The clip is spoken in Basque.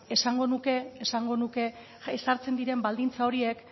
esango nuke ezartzen diren baldintza horiek